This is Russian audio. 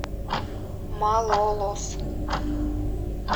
малолос